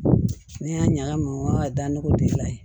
Ne y'a ɲagami n ka da nɔgɔ gilan ye